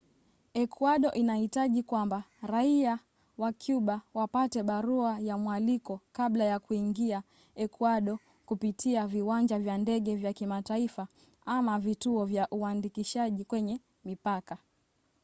ekuado inahitaji kwamba raia wa cuba wapate barua ya mwaliko kabla ya kuingia ekuado kupitia viwanja vya ndege vya kimataifa ama vituo vya uandikishaji kwenye mipaka